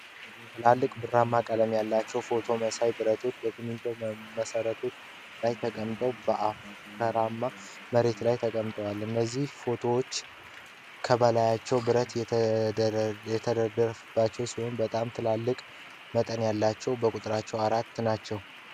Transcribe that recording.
ትላልቅ ብራማ ቀለም ያላቸው ሮቶ መሳይ ብረቶች በሲሚንቶ መሰረቶች ላይ ተቀምጠው በአፈራማ መሬት ላይ ተቀምጠዋል። እነዚህ ሮቶዎች ከበላያቸው ብረት የተደገፈባቸው ሲሆን በጣም ትላልቅ መጠን ያላቸው በቁጥር አራት ናቸው።